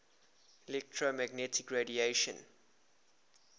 electromagnetic radiation